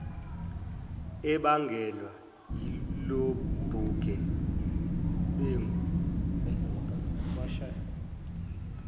ebangelwe ilobuge bengu